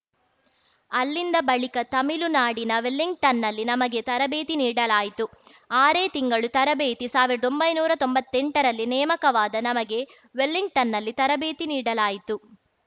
ಅಲ್ಲಿಂದ ಬಳಿಕ ತಮಿಳುನಾಡಿನ ವೆಲ್ಲಿಂಗಟನ್‌ನಲ್ಲಿ ನಮಗೆ ತರಬೇತಿ ನೀಡಲಾಯಿತು ಆರೇ ತಿಂಗಳು ತರಬೇತಿ ಸಾವಿರ್ದೊಂಬೈನೂರಾ ತೊಂಬತ್ತೆಂಟರಲ್ಲಿ ನೇಮಕವಾದ ನಮಗೆ ವೆಲ್ಲಿಂಗಟನ್‌ನಲ್ಲಿ ತರಬೇತಿ ನೀಡಲಾಯಿತು